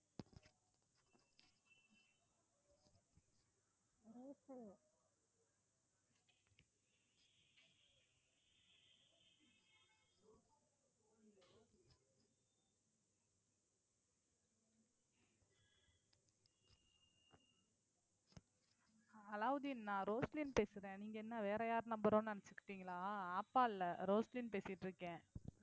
அலாவுதீன் நான் ரோஸ்லின் பேசுறேன் நீங்க என்ன வேற யார் number ஓ நினைச்சுகிட்டீங்களா ஆப்பா இல்ல ரோஸ்லின் பேசிட்டிருக்கேன்